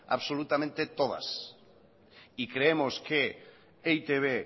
absolutamente todas y creemos que e i te be